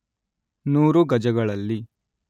ನೂರು ಗಜಗಳಲ್ಲಿ